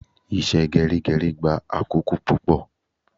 Ìṣe gerigeri gba akoko pupo